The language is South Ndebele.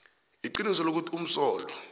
iqiniso lokuthi umsolwa